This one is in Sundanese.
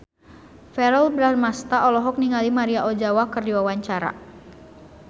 Verrell Bramastra olohok ningali Maria Ozawa keur diwawancara